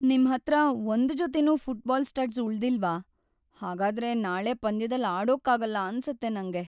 ನಿಮ್ಹತ್ರ ಒಂದ್‌ ಜೊತೆನೂ ಫುಟ್ಬಾಲ್ ಸ್ಟಡ್ಸ್ ಉಳ್ದಿಲ್ವಾ? ಹಾಗಾದ್ರೆ ನಾಳೆ ಪಂದ್ಯದಲ್ಲಿ ಆಡೋಕಾಗಲ್ಲ ಅನ್ಸತ್ತೆ ನಂಗೆ.